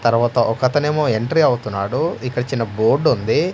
తర్వాత ఒక అతనేమో ఎంట్రీ అవుతున్నాడు ఇక్కడ చిన్న బోర్డుంది .